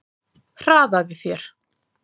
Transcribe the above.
Hraðaðu þér!